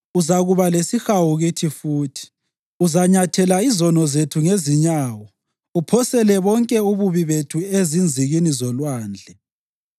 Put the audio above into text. Uzakuba lesihawu kithi futhi; uzanyathela izono zethu ngezinyawo uphosele bonke ububi bethu ezinzikini zolwandle.